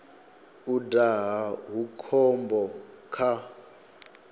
u daha hu khombo kha